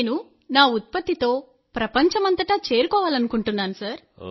నేను నా ఉత్పత్తితో ప్రపంచమంతటా చేరుకోవాలనుకుంటున్నాను